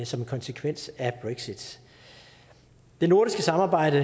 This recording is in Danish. som en konsekvens af brexit det nordiske samarbejde